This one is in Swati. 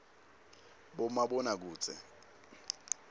bomabonakudze